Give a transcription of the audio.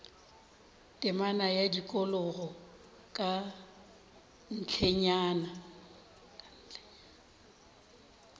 temana ya tikologo ka ntlenyana